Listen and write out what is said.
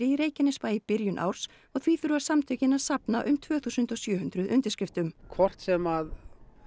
í Reykjanesbæ í byrjun árs og því þurfa samtökin að safna um tvö þúsund og sjö hundruð undirskriftum hvort sem að